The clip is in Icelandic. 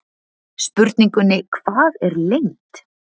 Spurningunni Hvað er lengd?